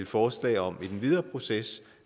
forslag om i den videre proces